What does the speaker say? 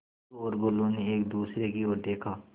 टुल्लु और बुल्लु ने एक दूसरे की ओर देखा